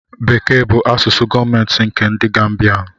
Bekee bụ asụsụ gọọmentị nkè ndị Gambianu